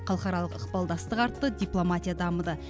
халықаралық ықпалдастық артты дипломатия дамыды